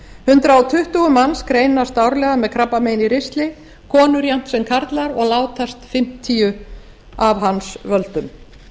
hundrað tuttugu manns greinast árlega með krabbamein í ristli konur jafnt sem karlar og látast fimmtíu af hans völdum